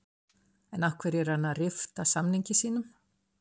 En af hverju er hann að rifta samningi sínum?